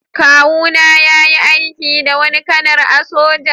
Kawu na yayi aiki da wani kanar a'soja.